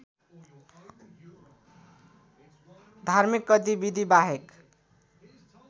धार्मिक गतिविधिबाहेक